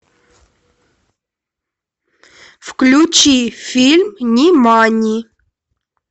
включи фильм нимани